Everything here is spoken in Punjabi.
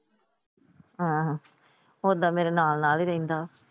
ਹਾਂ ਹਾਂ ਓਦਾਂ ਮੇਰੇ ਨਾਲ ਨਾਲ ਰਹਿੰਦਾ।